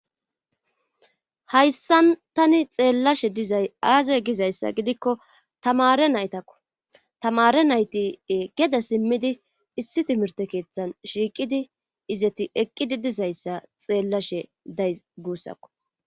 hayssan tani xeellashe dizay aaze gizayssa gidikko tamare naytakko. tamare nayti geda simmidi issi timirte keeththan shiiqidi izeti eqqidi dizayssa xeellashe days guussakko.